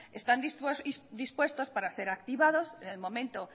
están dispuestos para ser activados en el momento